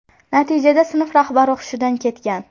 Natijada sinf rahbari hushidan ketgan.